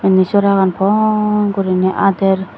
inni soragan pon guriney ader.